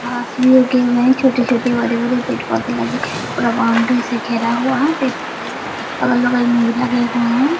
घास भी उगे हुए हैं छोटे-छोटे हरे-भरे पेड़-पौधे लगे पूरा बाउंड्री से घेरा हुआ है पेड़-पौधे अलग-बगल में भी लगे हुए हैं।